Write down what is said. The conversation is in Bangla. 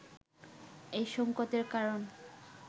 এই সংকটের কারণ